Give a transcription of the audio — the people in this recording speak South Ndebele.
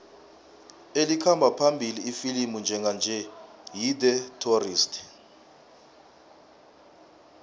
elikhamba phambili ifilimu njenganje yi the tourist